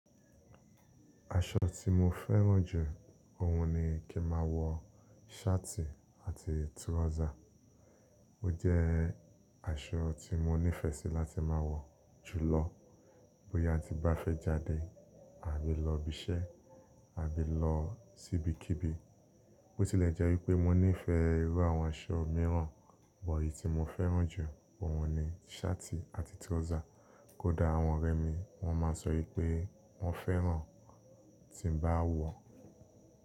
Aṣọ tí mo fẹ́ràn jù, òun ni kí máa wọ ṣáàtì àti túrọ́zà. Ó jẹ aṣọ tí mo nífẹ̀sí láti ma wọ jùlọ bóyá tí mo bá fẹ jáde àbí lọ́bi ṣẹ́ àbí lọ́sí ibikíbi. Ó tilẹ̀ jẹ́ wípé mo nífẹ̀ẹ́ irú àwọn aṣọ mìíràn, bọ̀ eyìí tí mo fẹ́ràn jù, òun ni ṣáàtì àti túrọ́zà. Kódà àwọn ọ̀rẹ́ mi wọ́n máa sọ yípé wọ́n fẹ́ràn tí n bá wọ.